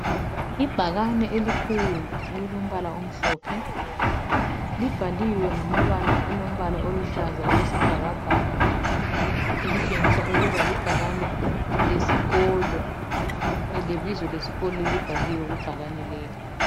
Ibhakane elikhulu elilombala omhlophe, libhaliwe ngamabala alombala oluhlaza okwesibhakabhaka, elitshengisa ukuba libhakane lesikolo, lebizo lesikolo libhaliwe kubhakane leli.